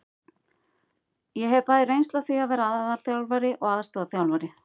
Ég hef bæði reynslu af því að vera aðalþjálfari og aðstoðarþjálfari.